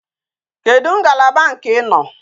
Kedu ngalaba nke i no?